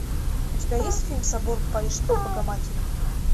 у тебя есть фильм собор парижской богоматери